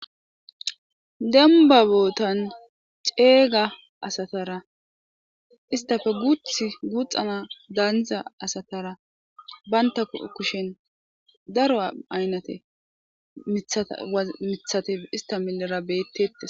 Dembba boottan ceega asatara istappe guuththu guuxxan haaniza asatara bantta milera daro miiththa guuppetti isata millera bettetes.